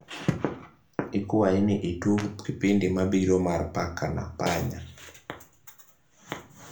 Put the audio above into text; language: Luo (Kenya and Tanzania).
ikwai ni itug kipindi mabiro mar paka na panya